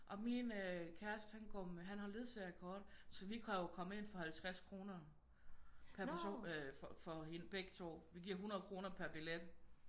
Og min kæreste han går med han har ledsager-kort så vi kan jo komme ind for 50 kroner per person øh for begge to. Vi giver 100 kroner per billet